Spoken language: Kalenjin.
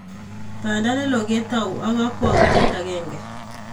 panda neloo kotau ak kakwautiet akenge